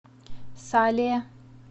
сале